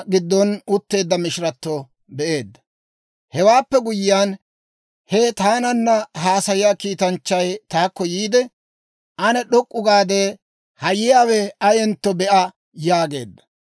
Hewaappe guyyiyaan, he taananna haasayiyaa kiitanchchay taakko yiide, «Ane d'ok'k'u gaade, ha yiyaawe ayentto be'a» yaageedda.